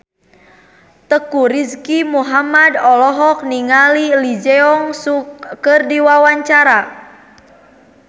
Teuku Rizky Muhammad olohok ningali Lee Jeong Suk keur diwawancara